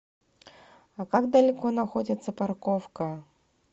а как далеко находится парковка